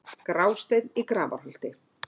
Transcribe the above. Grásteinn í Grafarholti